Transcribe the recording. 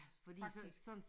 Faktisk